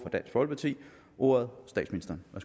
i ti